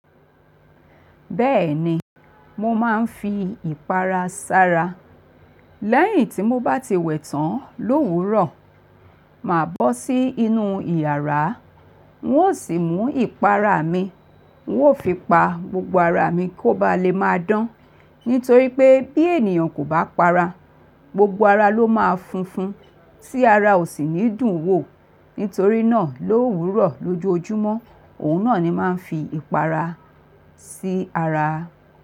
Bẹ́ẹ̀ni, mo máa ń fi ìpara sara. Lẹ́yìn tí mo bá ti wẹ̀ tán l'òwúrọ̀, màá bọ́ sí inú ìyàrá. N ó sì mú ìpara mi, n ó fi pa gbogbo ara mi kó ba lè máa dán. Nítorí pé bí ènìyàn kò bá para, gbogbo ara ló máa funfun. Sí ara ò sì ní dùn wò. Nítorí náà l'òwúrọ̀, lójoojúmọ́, òun náà ni máa ń fi ìpara sí ara.